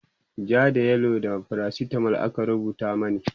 ja da yellow da faracitamol aka rubuta mani